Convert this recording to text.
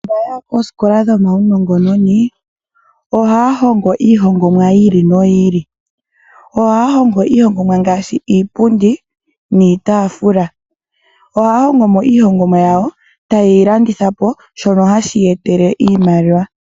Aantu mbaya ya koosikola dhomaunongononi ohaya hongo iihongomwa yi ili noyi ili ngaashi: iipundi niitaafula. Iihongomwa ya yo oha ye yi landitha po opo ya vule oku mona mo oshimaliwa.